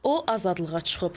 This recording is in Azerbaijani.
O azadlığa çıxıb.